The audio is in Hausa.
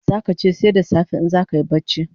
Zaka che sai da safe in zakayi bacci